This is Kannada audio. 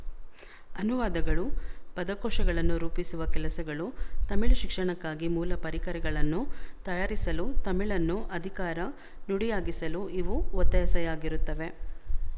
ಅನುವಾದಗಳು ಪದಕೋಶಗಳನ್ನು ರೂಪಿಸುವ ಕೆಲಸಗಳು ತಮಿಳು ಶಿಕ್ಷಣಕ್ಕಾಗಿ ಮೂಲ ಪರಿಕರಗಳನ್ನು ತಯಾರಿಸಲು ತಮಿಳನ್ನು ಅಧಿಕಾರ ನುಡಿಯಾಗಿಸಲು ಇವು ಒತ್ತಾಸೆಯಾಗಿರುತ್ತವೆ